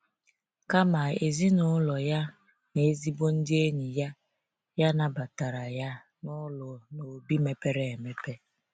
Kama, ezinụlọ ya na ezigbo ndị enyi ya ya nabatara ya n’ụlọ n’obi mepere emepe.